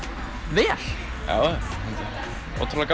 vel já ótrúlega